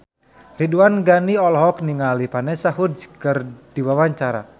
Ridwan Ghani olohok ningali Vanessa Hudgens keur diwawancara